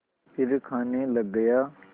फिर खाने लग गया